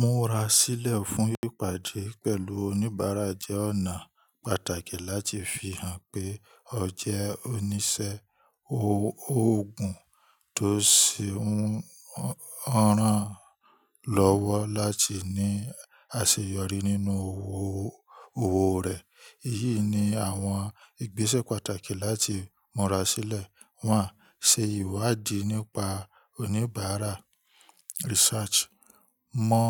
Múra sílẹ̀ fún ìpàdé pẹ̀lú oníbàárà jẹ́ ọ̀nà pàtàkì láti fi hàn pé ọ jẹ́ oníṣẹ́ ó, ògùn tó ṣe ń rán lọ́wọ́ láti ní àṣeyọrí nínú òwò rẹ̀. Èyí ni àwọn ìgbésẹ̀ pàtàkì láti múra sílẹ̀, wọ́n á ṣe ìwádìí nípa oníbàárà research. Mọ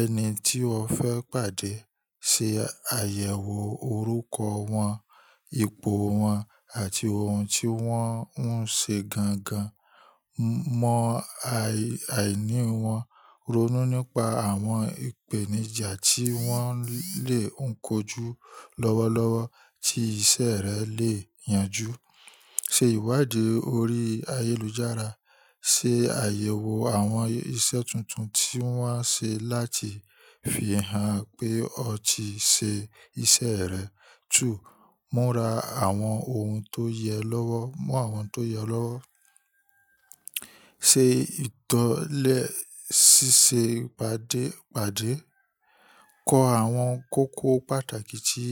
ẹni tí o fẹ́ pàdé, ṣe àyẹ̀wò orúkọ wọn, ipò wọn àti oun tí wọ́n ń ṣe gangan. Mọ ai, àìní wọn, ronú nípa àwọn ìpèníjà tí wọ́n lè ń kojú lọ́wọ́lọ́wọ́ tí iṣẹ́ rẹ lè yanjú. Ṣe ìwádìí orí ayélujára, ṣe àyẹ̀wò àwọn iṣẹ́ tuntun tí wọ́n á ṣe láti fi hàn pé o ti ṣe iṣẹ́ rẹ. 2. Múra àwọn ohun tó yẹ lọ́wọ́. Mú àwọn tó yẹ lọ́wọ́. Te ìtọ́lẹ síse ìpàdé, pade kọ àwọn kókó pàtàkì tí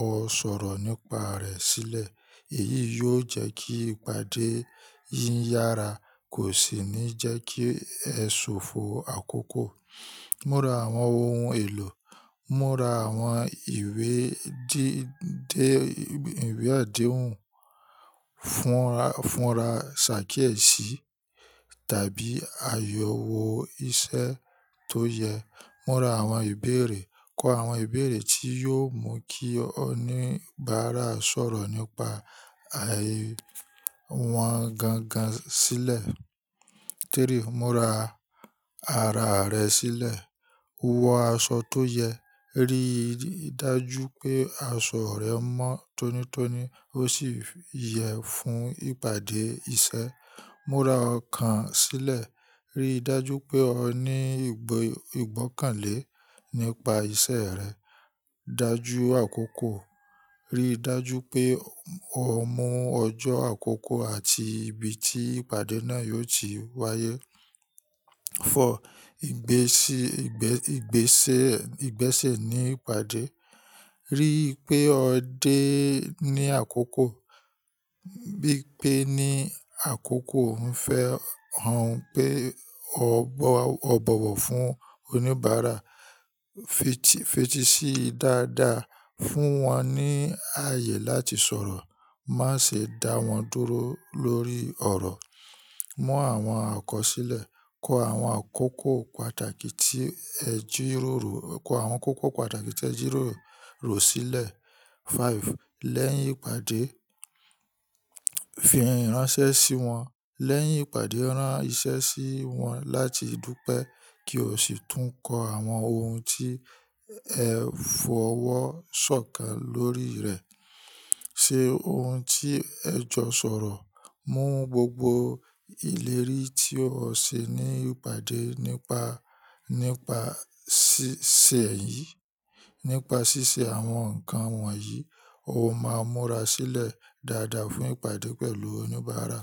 o sọ̀rọ̀ nípa rẹ̀ sílẹ̀. Èyí yóò jẹ́ kí ìpàdé yìí yára kò sì ní jẹ́ kí ẹ ṣòfò àkókò. Múra àwọn ohun èlò, múra àwọn ìwé díndé, ìwé àdéhùn, fúnra, funra, ṣàkíẹ̀sí tàbí àyẹ̀wò iṣẹ́ tó yẹ. Múra àwọn ìbéèrè, kọ àwọn ìbéèrè tí yóò mú kí oníbàárà sọ̀rọ̀ nípa, ai, àwọn gangan sílẹ̀. 3. Múra ara rẹ sílẹ̀, wọ aṣọ tó yẹ, rí dájú pé asọ rẹ mọ́ tónítóní ó sì yẹ fún ìpàdé iṣẹ́. Múra ọkàn sílẹ̀, rí dájú pé o ní igbo ìgbọ́kànlé nípa iṣẹ́ rẹ. Dájú àkókò, rí dájú pé o mú ọjọ́ àkókò àti ibi tí ìpàdé náà yóò ti wáyé. 4. Ìgbési, igbe, igbese, igbese ní ìpàdé. Rí pé ọ dé ní àkókò, bí pé ní àkókò ń fẹ́ hàn pé o bowo o bọ̀wọ̀ fún oníbàárà. Fiti Fètísí dáadáa, fún wọn ní ààyè láti sọ̀rọ̀, máa ṣe dá wọn dúró lórí ọ̀rọ̀. Mú àwọn akọ̀ sílẹ̀, kọ awon akoko pata àwọn kókó pàtàkì tí ẹ jíró rọ̀ sílẹ̀. 5. Lẹ́yìn ìpàdé, fi ìránṣẹ́ sí wọn. Lẹ́yìn ìpàdé rán iṣẹ́ sí wọn láti dúpẹ́ kí o sì tún kọ àwọn oun tí ẹ fọwọ́ sọ̀kàn lórí rẹ. Ṣe ohun tí ẹ jọ sọ̀rọ̀, mú gbogbo ìlérí tí o ṣe ní ìpàdé nípa ṣíṣe yìí. Nípa ṣíṣe àwọn nǹkan wọ̀nyí, o máa múra sílẹ̀ dáadáa fún ìpàdé pẹ̀lú oníbàárà.